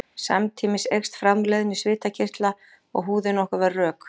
Samtímis eykst framleiðni svitakirtla og húðin á okkur verður rök.